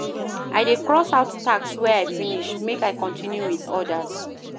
I dey cross out tasks wey I finish, make I continue wit odas.